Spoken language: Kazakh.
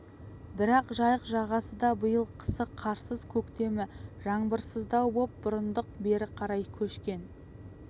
бірақ жайық жағасы да биыл қысы қарсыз көктемі жаңбырсыздау боп бұрындық бері қарай көшкен